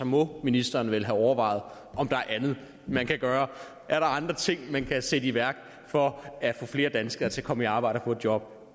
må ministeren vel have overvejet om der er andet man kan gøre er der andre ting man kan sætte i værk for at få flere danskere til at komme i arbejde og få et job